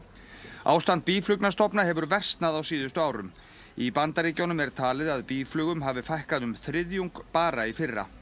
ástand hefur versnað á síðustu árum í Bandaríkjunum er talið að býflugum hafi fækkað um þriðjung bara í fyrra